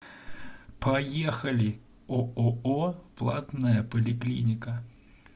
поехали ооо платная поликлиника